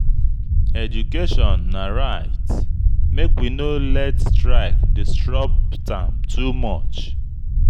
Education na right; make we no let strike disrupt am too much.